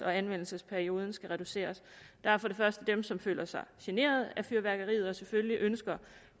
og anvendelsesperioden skal reduceres der er dem som føler sig generet af fyrværkeriet og selvfølgelig ønsker